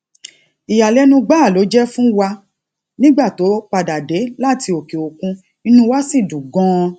ìyàlénu gbáà ló jé fún wa nígbà tó padà dé láti òkè òkun inú wa sì dùn ganan